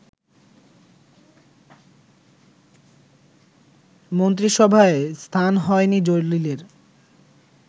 মন্ত্রিসভায় স্থান হয়নি জলিলের